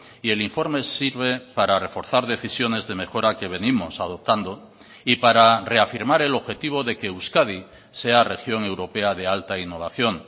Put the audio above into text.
y el informe sirve para reforzar decisiones de mejora que venimos adoptando y para reafirmar el objetivo de que euskadi sea región europea de alta innovación